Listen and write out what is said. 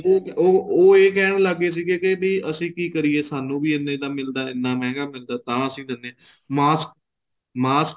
ਉਹ ਉਹ ਇਹ ਕਹਿਣ ਲੱਗ ਗਏ ਸੀਗੇ ਕੀ ਵੀ ਅਸੀਂ ਵੀ ਕੀ ਕਰੀਏ ਸਾਨੂੰ ਵੀ ਇੰਨੇ ਦਾ ਮਿਲਦਾ ਇੰਨਾ ਮਹਿੰਗਾ ਮਿਲਦਾ ਏ ਤਾਂ ਅਸੀਂ ਦਿੰਨੇ ਹਾਂ mask mask